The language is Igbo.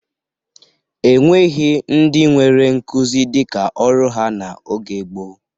E nweghi ndị nwere nkuzi dịka ọrụ ha n'oge gboo.